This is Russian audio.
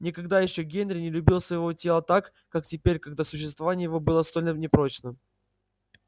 никогда ещё генри не любил своего тела так как теперь когда существование его было столь непрочно